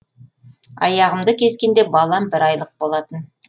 аяғымды кескенде балам бір айлық болатын